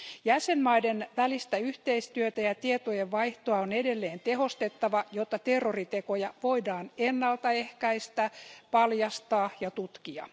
Jäsenmaiden välistä yhteistyötä ja tietojen vaihtoa on edelleen tehostettava, jotta terroritekoja voidaan ennaltaehkäistä, paljastaa ja tutkia.